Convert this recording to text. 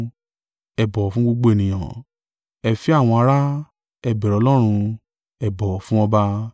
Ẹ bọ̀wọ̀ fún gbogbo ènìyàn, ẹ fẹ́ àwọn ará, ẹ bẹ̀rù Ọlọ́run, ẹ bọ̀wọ̀ fún ọba.